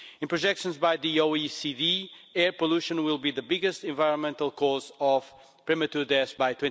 In projections by the OECD, air pollution will be the biggest environmental cause of premature deaths by